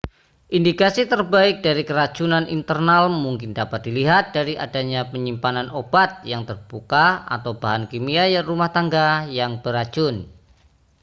indikasi terbaik dari keracunan internal mungkin dapat dilihat dari adanya penyimpanan obat yang terbuka atau bahan kimia rumah tangga yang beracun